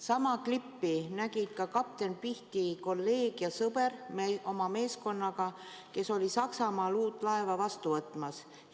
Sama klippi nägi kapten Pihti kolleeg ja sõber oma meeskonnaga, kes oli Saksamaal uut laeva vastu võtmas.